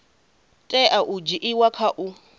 tea u dzhiiwa kha u